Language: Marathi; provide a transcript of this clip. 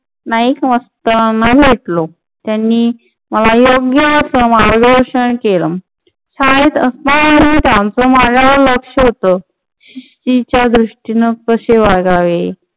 नाईकमास्टर ना भेटलो. त्यांनी मला योग्य मार्गदर्शन केलं. शाळेत असतानाही त्यांचा माझ्यावर लक्ष होतं. शिस्तीच्या दृष्टीने कसे वागावे